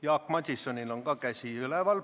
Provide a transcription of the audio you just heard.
Jaak Madisonil on ka käsi üleval.